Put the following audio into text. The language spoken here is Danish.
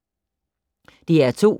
DR2